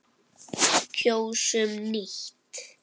Kjósum nýtt.